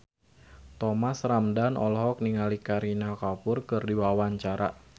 Thomas Ramdhan olohok ningali Kareena Kapoor keur diwawancara